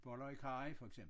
Boller i karry for eksempel